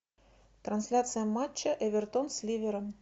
трансляция матча эвертон с ливером